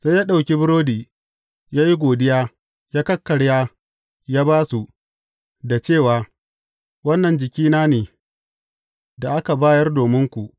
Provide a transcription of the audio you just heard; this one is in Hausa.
Sai ya ɗauki burodi ya yi godiya, ya kakkarya ya ba su, da cewa, Wannan jikina ne, da aka bayar dominku.